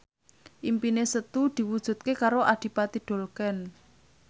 impine Setu diwujudke karo Adipati Dolken